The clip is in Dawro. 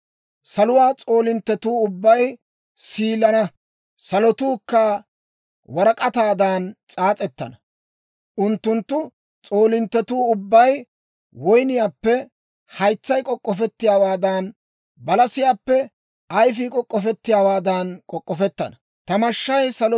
Saluwaa s'oolinttetuu ubbay siilana; salotuu warak'ataadan s'aas'ettana. Unttunttu s'oolinttetuu ubbay woyniyaappe haytsay k'ok'ofettiyaawaadan, balasiyaappe ayfii k'ok'ofettiyaawaadan k'ok'k'ofetanna. S'aas'etsaa Matsaafaa